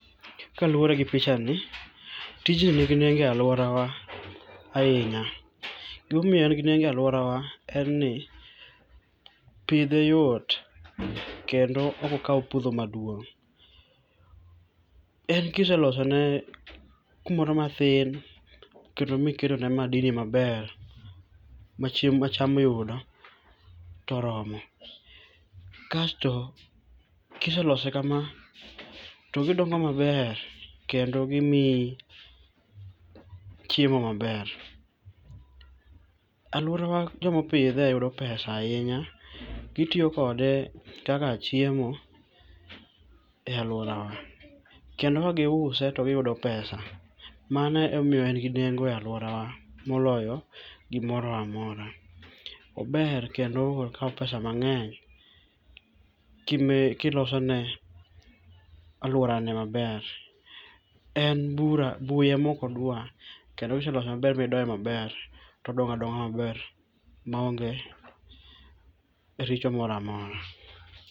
Kaluwore gi pichani, tijni ni gi nengo e aluorawa ahinya. Gima omiyo en gi nengo e aluorawa en ni pidhe yot kendo ok okaw puodho maduong'. En kiselosone kumoro matin kendo kiketone madini maber ma chiem ma cham yudo to oromo. Kasto ka iselose kama to gidongo maber kendo gimiyi chiemo maber. Aluorana joma opidhe yudo pesa ahinya gitiyo kode kaka chiemo e aluorawa kendo ka giuse to giyudo pesa, mano emomiyo en gi nengo e aluorawa moloyo gimoro amora. Ober kendo ok okaw pesa mang'eny ka ilosone aluorane maber. En bura buya ema ok oduar kendo kiselose maber midoye maber to odongo adonga maber maonge richo moro amora.